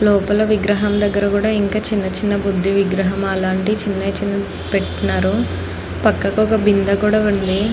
లోపల విగ్రహం దగ్గర కూడా ఇంకా చిన్న చిన్న బుద్ధి విగ్రహం అలాంటి చిన్న చిన్న పెట్టినారు. పక్కకు ఒక బిందె కూడా ఉంది.